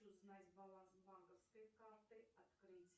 узнать баланс банковской карты открыть